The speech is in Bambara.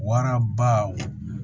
Waraba